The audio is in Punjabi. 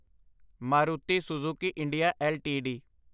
Maruti Suzuki India LTD